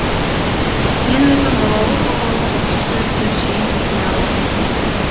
мен өзім балалы болғалы осы сөзді жиі есіме аламын